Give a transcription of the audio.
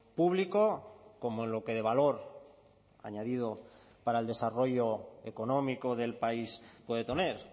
público como en lo que de valor añadido para el desarrollo económico del país puede tener